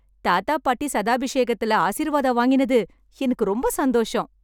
தாத்தா, பாட்டி சதாபிஷேகத்திலே ஆசீர்வாதம் வாங்கினது எனக்கு ரொம்ப சந்தோஷம்.